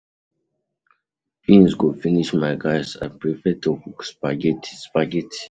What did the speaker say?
Beans go finish my gas I prefer to cook spaghetti spaghetti